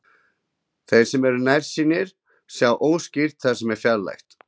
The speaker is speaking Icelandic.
Þeir sem eru nærsýnir sjá óskýrt það sem er fjarlægt.